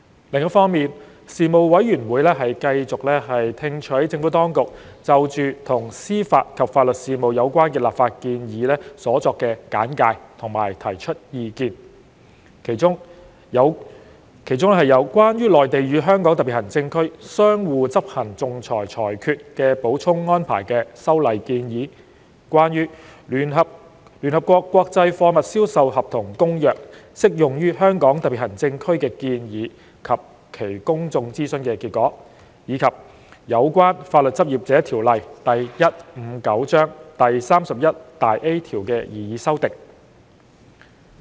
另一方面，事務委員會繼續聽取政府當局就與司法及法律事務有關的立法建議所作簡介和提出意見，其中有《關於內地與香港特別行政區相互執行仲裁裁決的補充安排》的修例建議、關於《聯合國國際貨物銷售合同公約》適用於香港特別行政區的建議及其公眾諮詢結果，以及有關《法律執業者條例》第 31A 條的擬議修訂。